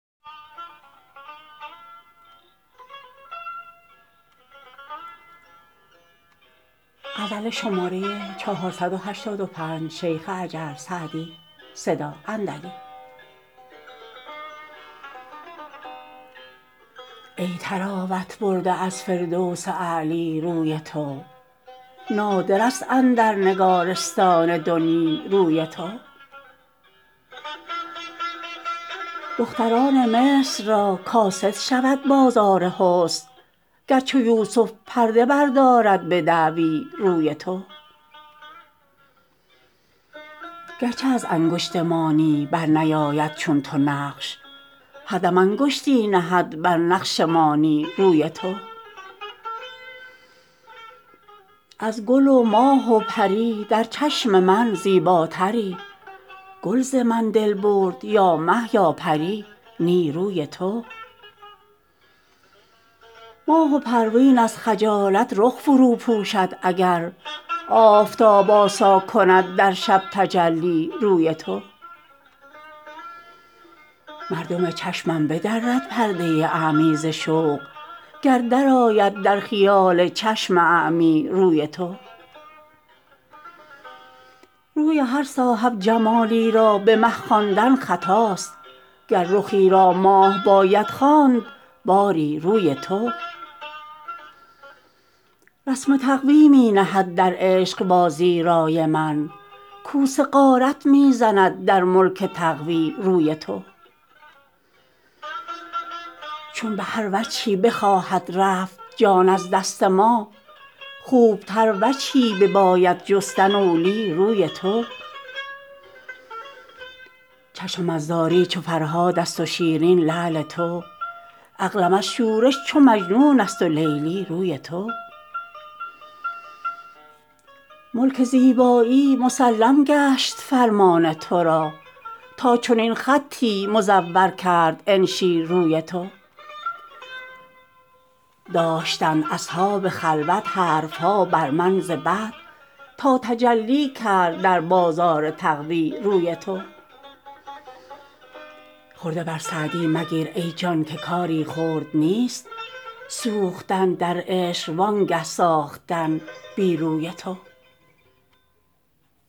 ای طراوت برده از فردوس اعلی روی تو نادر است اندر نگارستان دنیی روی تو دختران مصر را کاسد شود بازار حسن گر چو یوسف پرده بردارد به دعوی روی تو گر چه از انگشت مانی بر نیاید چون تو نقش هر دم انگشتی نهد بر نقش مانی روی تو از گل و ماه و پری در چشم من زیباتری گل ز من دل برد یا مه یا پری نی روی تو ماه و پروین از خجالت رخ فرو پوشد اگر آفتاب آسا کند در شب تجلی روی تو مردم چشمش بدرد پرده اعمی ز شوق گر درآید در خیال چشم اعمی روی تو روی هر صاحب جمالی را به مه خواندن خطاست گر رخی را ماه باید خواند باری روی تو رسم تقوی می نهد در عشق بازی رای من کوس غارت می زند در ملک تقوی روی تو چون به هر وجهی بخواهد رفت جان از دست ما خوب تر وجهی بباید جستن اولی روی تو چشمم از زاری چو فرهاد است و شیرین لعل تو عقلم از شورش چو مجنون است و لیلی روی تو ملک زیبایی مسلم گشت فرمان تو را تا چنین خطی مزور کرد انشی روی تو داشتند اصحاب خلوت حرف ها بر من ز بد تا تجلی کرد در بازار تقوی روی تو خرده بر سعدی مگیر ای جان که کاری خرد نیست سوختن در عشق وانگه ساختن بی روی تو